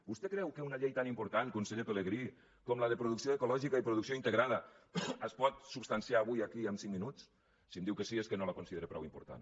vostè creu que una llei tan important conseller pelegrí com la de producció ecològica i producció integrada es pot substanciar avui aquí en cinc minuts si em diu que sí és que no la considera prou important